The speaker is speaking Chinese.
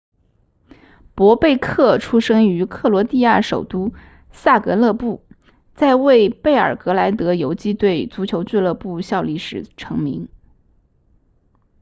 博贝克出生于克罗地亚首都萨格勒布在为贝尔格莱德游击队足球俱乐部效力时成名